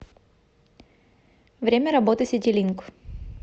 время работы ситилинк